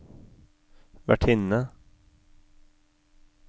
vertinne